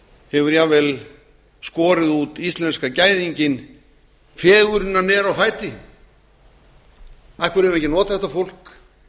hefur jafnvel skorið út íslenska gæðinginn fegurðina á fæti af hverju eigum við ekki að nota þetta fólk